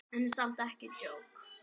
En samt ekki djók.